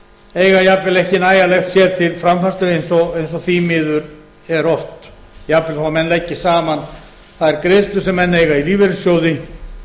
eiga jafnvel ekki nægjanlegt fé til framfærslu eins og því miður er oft jafnvel þó menn leggi saman þær greiðslur sem menn eiga í lífeyrissjóði